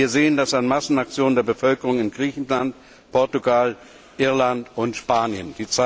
Wir sehen das an Massenaktionen der Bevölkerung in Griechenland, Portugal, Irland und Spanien.